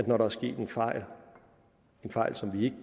når der er sket en fejl fejl som vi